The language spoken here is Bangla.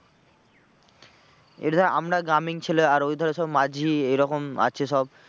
এবারে ধর আমরা গ্রামীণ ছেলে আর ওইধারে সব মাঝি এরকম আছে সব।